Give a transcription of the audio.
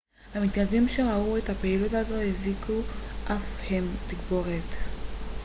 המתיישבים שראו את הפעילות הזו הזעיקו אף הם תגבורת